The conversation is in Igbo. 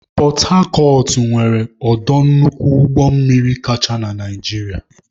Pọtacọt nwere ọdọ nnukwu ụgbọmmiri kacha na Naịjirịa.